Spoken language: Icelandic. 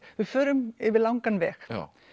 við förum yfir langan veg